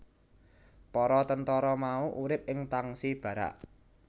Para tentara mau urip ing tangsi barak